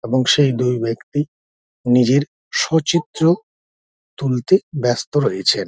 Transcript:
এবং সেই দুই ব্যাক্তি নিজের সচিত্র তুলতে ব্যস্ত রয়েছেন ।